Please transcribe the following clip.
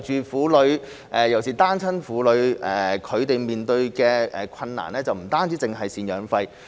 婦女尤其是單親婦女面對的困難，不僅涉及贍養費的問題。